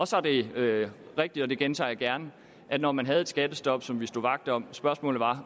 så er det rigtigt og det gentager jeg gerne at når man havde et skattestop som vi stod vagt om var spørgsmålet om